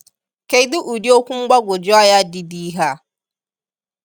Kedu udi okwu mgbagwoju anya dị dị ihe a!